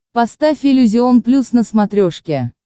поставь иллюзион плюс на смотрешке